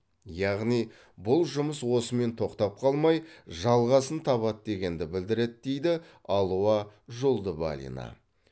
яғни бұл жұмыс осымен тоқтап қалмай жалғасын табады дегенді білдіреді дейді алуа жолдыбалина